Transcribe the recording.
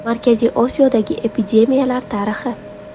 Markaziy Osiyodagi epidemiyalar tarixi.